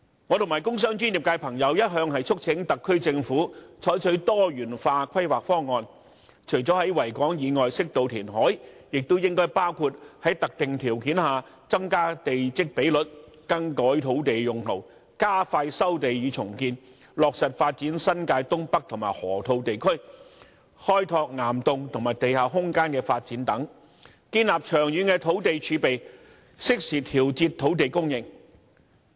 我和工商專業界別的朋友一向促請特區政府採取多元化規劃方案，除了在維港以外適度填海，亦應該包括在特定條件下增加地積比率、更改土地用途、加快收地與重建、落實發展新界東北和河套地區、開拓岩洞和地下空間的發展等，建立長遠的土地儲備，適時調節土地供應。